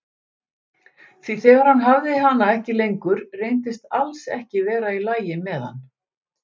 Því þegar hann hafði hana ekki lengur reyndist alls ekki vera í lagi með hann.